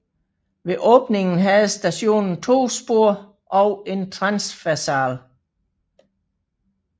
Ved åbningen havde stationen to spor og en transversal